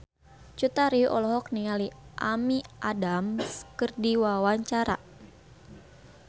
Cut Tari olohok ningali Amy Adams keur diwawancara